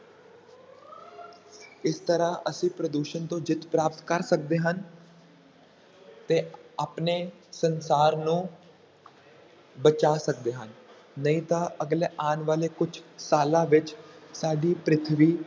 ਇਸ ਤਰ੍ਹਾਂ ਅਸੀਂ ਪ੍ਰਦੂਸ਼ਣ ਤੋਂ ਜਿੱਤ ਪ੍ਰਾਪਤ ਕਰ ਸਕਦੇ ਹਾਂ ਤੇ ਆਪਣੇ ਸੰਸਾਰ ਨੂੰ ਬਚਾ ਸਕਦੇ ਹਨ, ਨਹੀਂ ਤਾਂ ਅਗਲੇ ਆਉਣ ਵਾਲੇ ਕੁਛ ਸਾਲਾਂ ਵਿੱਚ ਸਾਡੀ ਪ੍ਰਿਥਵੀ,